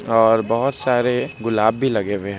और बहुत सारे गुलाब भी लगे हुए हैं।